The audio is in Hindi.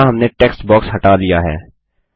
यहाँ हमने टेक्स्ट बॉक्स हटा लिया है